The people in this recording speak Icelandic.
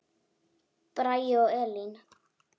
Bragi og Elín.